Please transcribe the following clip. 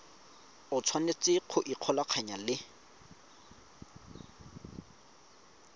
o tshwanetse go ikgolaganya le